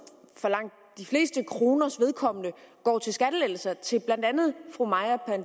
for langt de fleste kroners vedkommende går til skattelettelser til blandt andet